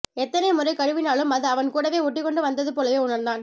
எத்தனை முறை கழுவினாலும் அது அவன் கூடவே ஓட்டிக்கொண்டு வந்த்து போலவே உணர்ந்தான்